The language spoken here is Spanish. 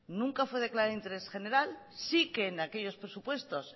nunca fue declarada de interés general sí que en aquellos presupuestos